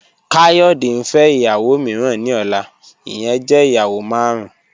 Kayode n fẹ iyawo miiran ni ọla, iyẹn jẹ iyawo marun.